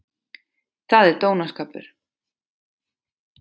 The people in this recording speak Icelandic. Það er dónaskapur!